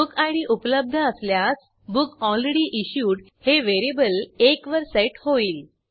book id उपलब्ध असल्यास book already issued हे व्हेरिएबल1 वर सेट होईल